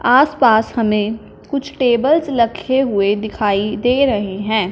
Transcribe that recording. आसपास हमें कुछ टेबल्स लखे हुए दिखाई दे रहे हैं।